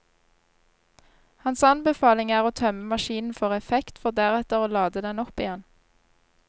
Hans anbefaling er å tømme maskinen for effekt, for deretter å lade den opp igjen.